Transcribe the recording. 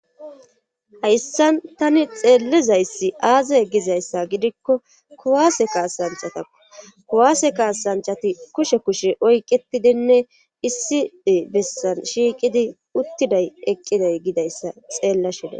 Hayssan tani xeellizayssi aaza gizayssa gidikko kuwaase kaasanchatao kuwaase kaasanchati kushe kushe oyqetidinne issi bessan shiiqidi uttiday eqqiday gidayssa xeellashida